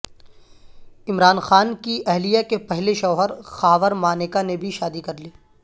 عمران خان کی اہلیہ کے پہلے شوہرخاور مانیکا نے بھی شادی کرلی